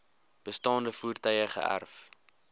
bestaande voertuie geërf